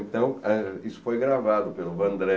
Então, é isso foi gravado pelo Vandré.